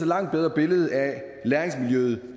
langt bedre billede af læringsmiljøet